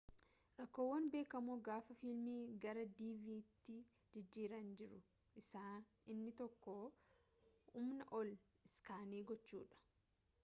rakkoowwan beekamoo gaafa fiilmii gara dvdtti jijjiiran jiru keessaa inni tokko humnaa ol iskaanii gochuudha